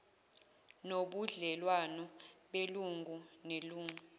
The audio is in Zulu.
nobudlelwano belungu nelungu